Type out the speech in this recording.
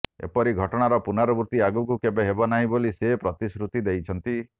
ଏପରି ଘଟଣାର ପୁନରାବୃତ୍ତି ଆଗକୁ କେବେ ହେବନାହିଁ ବୋଲି ସେ ପ୍ରତିଶୃତି ଦେଇଛନ୍ତି